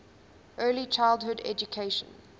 early childhood education